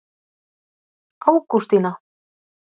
Ágústína